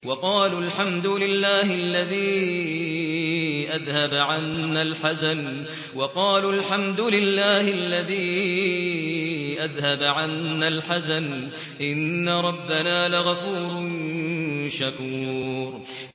وَقَالُوا الْحَمْدُ لِلَّهِ الَّذِي أَذْهَبَ عَنَّا الْحَزَنَ ۖ إِنَّ رَبَّنَا لَغَفُورٌ شَكُورٌ